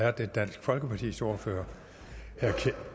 er det dansk folkepartis ordfører